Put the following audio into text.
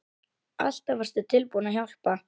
Alltaf varstu tilbúin að hjálpa.